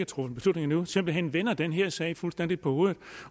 truffet beslutning endnu simpelt hen vender den her sag fuldstændig på hovedet